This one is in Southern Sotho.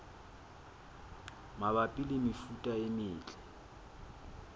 mabapi le mefuta e metle